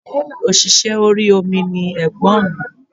Òṣìṣẹ́ orí omi ni ègbọ́n mi